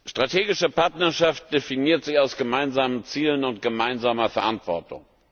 Strategische Partnerschaft definiert sich aus gemeinsamen Zielen und gemeinsamer Verantwortung.